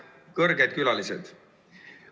Kõrged külalised!